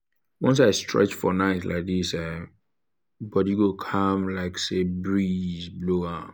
once i stretch for night like this um body go calm like say breeze blow am.